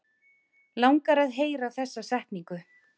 Langar að heyra þessa setningu.